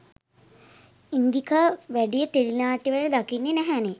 ඉන්දිකා වැඩිය ටෙලි නාට්‍යවල දකින්න නැහැනේ?